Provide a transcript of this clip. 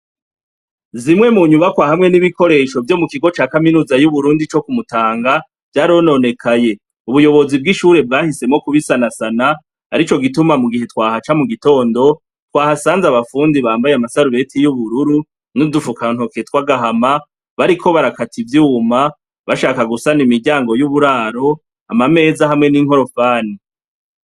Zimwe mu nyubakwa hamwe n'ibikoresho vyo mu kigo ca kaminuza y'Uburundi co ku Mutanga, vyarononekaye. Ubuyobozi bw'ishure bwahisemwo kubisanasana, arico gituma mu gihe twahaca mu gitondo, twahasanze abafundi bambaye amadarubeti y'ubururu n'udufukantoke tw'agahama, bariko barakata ivyuma, bashaka gusana imiryango y'uburaro, amameza hamwe n'inkorofani.